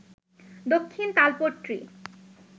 Dakshin Talpatti